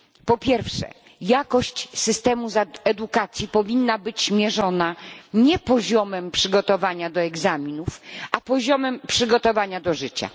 Po pierwsze jakość systemu edukacji powinna być mierzona nie poziomem przygotowania do egzaminów, a poziomem przygotowania do życia.